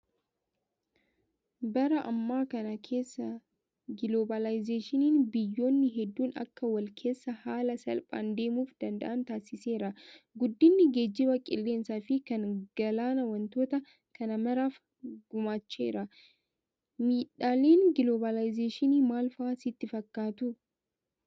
Bara ammaa kana keessa giloobaalaayizeeshiniin biyyoonni hedduun akka wal keessa haala salphaan deemuu danda'an taasiseera. Guddinni geejjiba qilleensaa fi kan galaanaa wantoota kana maraaf gumaacheera. Miidhaaleen giloobaalaayizeeshinii maal fa'aa sitti fakkaatuu?